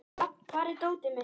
Rafn, hvar er dótið mitt?